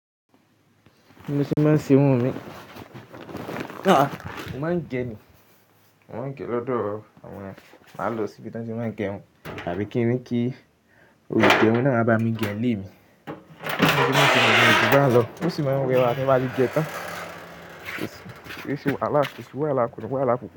Bi mo se máa ń se irun mi. Mo máa ń ge ni, mo máa ń ge lọ́dọ̀ àwọn. Máa lọ sí ibi tí wọ́n ti máa ń gẹ irun tàbí kí n ní kí olùgẹrun náà wa bá mi gẹ ni ilé mi. Mo sì máa ń gẹ wọn bá ti bá lọ, mo sì máa ń gẹ wọn bá ti bá jí jẹ tán. Ó sì wọ́n á lákù, ó sì wọ́n á lákùkú.